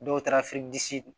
Dɔw taara